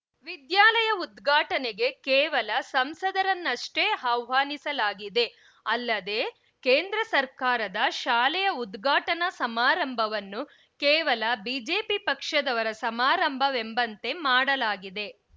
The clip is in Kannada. ವಿದ್ಯಾಲಯ ಉದ್ಘಾಟನೆಗೆ ಕೇವಲ ಸಂಸದರನ್ನಷ್ಟೇ ಆಹ್ವಾನಿಸಲಾಗಿದೆ ಅಲ್ಲದೇ ಕೇಂದ್ರ ಸರ್ಕಾರದ ಶಾಲೆಯ ಉದ್ಘಾಟನಾ ಸಮಾರಂಭವನ್ನು ಕೇವಲ ಬಿಜೆಪಿ ಪಕ್ಷದವರ ಸಮಾರಂಭವೆಂಬಂತೆ ಮಾಡಲಾಗಿದೆ